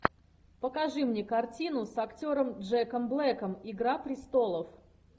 покажи мне картину с актером джеком блэком игра престолов